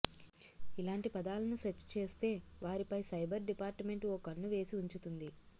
ఇలాంటి పదాలను సెర్చ్ చేస్తే వారిపై సైబర్ డిపార్ట్ మెంట్ ఓ కన్ను వేసి ఉంచుతుంది